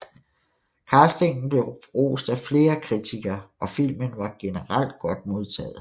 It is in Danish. Castingen blev rost af flere kritikere og filmen var generelt godt modtaget